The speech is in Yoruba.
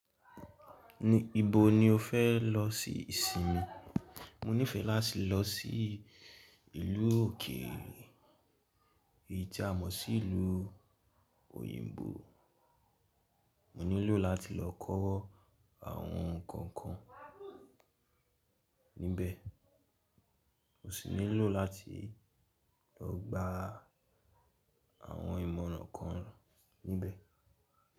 Níbo ni o fẹ́ lọ sí ìsinmi? Mo nífẹẹ láti lọ sí ìlú òkèèrè, èyí tí a mọ̀ sí ìlú òyìnbó. Mo nílò láti lọ kọ́ àwọn nǹkan kan níbẹ̀. Mo sì nílò láti lọ gba àwọn ìmọ̀ràn kan níbẹ̀.